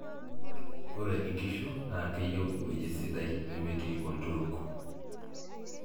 ore inkishu naa keyieu ewoji sidai nemetii olturuk